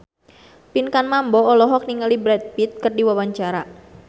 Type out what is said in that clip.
Pinkan Mambo olohok ningali Brad Pitt keur diwawancara